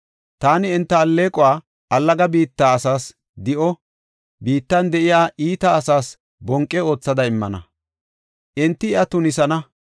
Taani enta alleequwa allaga biitta asaas di7o, biittan de7iya iita asaas bonqe aathada immana; enti iya tunisana.